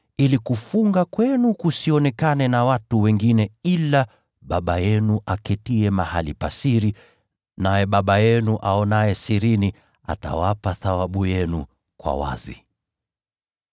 ili kufunga kwenu kusionekane na watu wengine ila Baba yenu aketiye mahali pa siri; naye Baba yenu aonaye sirini atawapa thawabu yenu kwa wazi.